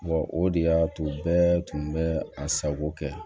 o de y'a to bɛɛ tun bɛ a sago kɛ